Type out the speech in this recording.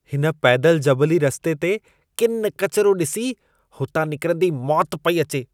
हिन पैदल जबली रस्ते ते किनि किचिरो ॾिसी, हुतां निकिरंदे मौति पेई अचे।